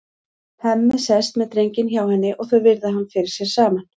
Hemmi sest með drenginn hjá henni og þau virða hann fyrir sér saman.